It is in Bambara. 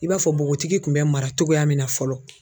I b'a fɔ bogotigi kun bɛ mara cogoya min na fɔlɔ.